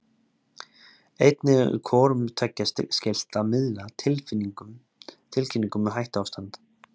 Einnig er hvorum tveggja skylt að miðla tilkynningum um hættuástand.